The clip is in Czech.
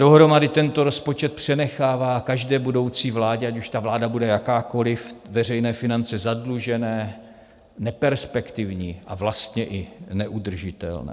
Dohromady tento rozpočet přenechává každé budoucí vládě, ať už ta vláda bude jakákoli, veřejné finance zadlužené, neperspektivní a vlastně i neudržitelné.